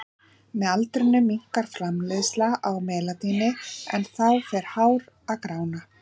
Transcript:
Með aldrinum minnkar framleiðsla á melaníni en þá fer hár að grána.